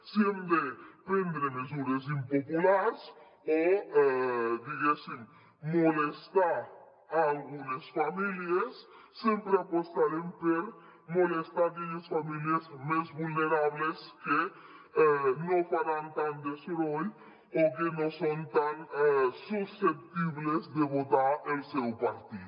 si hem de prendre mesures impopulars o diguéssim molestar algunes famílies sempre apostarem per molestar aquelles famílies més vulnerables que no faran tant de soroll o que no són tan susceptibles de votar el seu partit